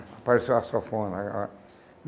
Apareceu a sanfona. A